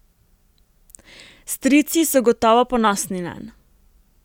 Strici so gotovo ponosni nanj.